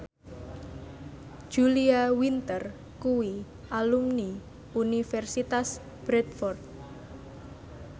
Julia Winter kuwi alumni Universitas Bradford